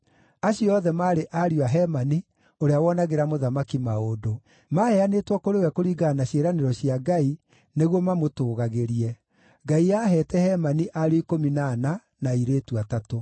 Acio othe maarĩ ariũ a Hemani ũrĩa wonagĩra mũthamaki maũndũ. Maaheanĩtwo kũrĩ we kũringana na ciĩranĩro cia Ngai nĩguo mamũtũũgagĩrie. Ngai aaheete Hemani ariũ ikũmi na ana, na airĩtu atatũ.